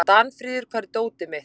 Danfríður, hvar er dótið mitt?